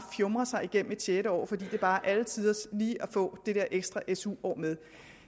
fjumrer sig igennem et sjette år fordi det bare er alle tiders lige at få det der ekstra su år med